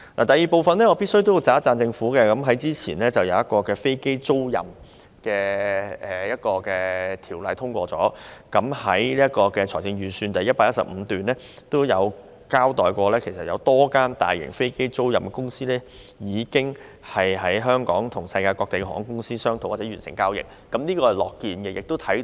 第二，我必須稱讚政府早前通過了一項與飛機租賃業務有關的法例，而預算案第115段也指有多間大型飛機租賃公司已透過香港與世界各地航空公司商討或完成交易。